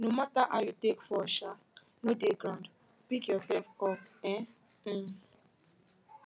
no matter how you take fall um no dey ground pick yourself up um um